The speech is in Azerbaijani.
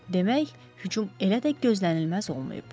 Demək, hücum elə də gözlənilməz olmayıb.